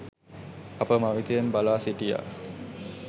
අප මවිතයෙන් බලා සිටියා